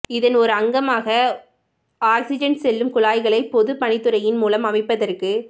இதன் ஓர் அங்கமாக ஒக்சிஜன் செல்லும் குழாய்களை பொதுப் பணித்துறையின் மூலம் அமைப்பதற்கு